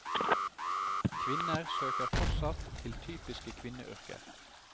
Kvinner søker fortsatt til typiske kvinneyrker.